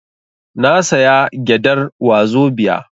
Na saya gyadar wazobia